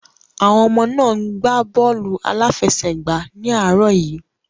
Àwọn ọmọ náà ń gbá bọ́ọ̀lù aláfẹsẹ̀gbá ní àárọ̀ yìí.